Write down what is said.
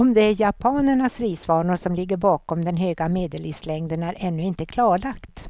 Om det är japanernas risvanor som ligger bakom den höga medellivslängden är ännu inte klarlagt.